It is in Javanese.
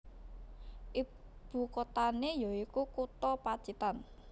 Ibu kotane ya iku kutha Pacitan